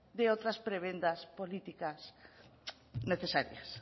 de otras prebendas políticas necesarias